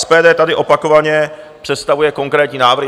SPD tady opakovaně představuje konkrétní návrhy.